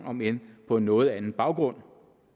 om end på en noget andet baggrund